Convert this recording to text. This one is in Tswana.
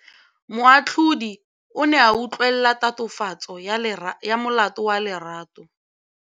Moatlhodi o ne a utlwelela tatofatsô ya molato wa Lerato.